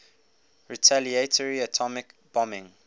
retaliatory atomic bombing